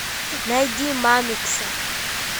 найди мамикса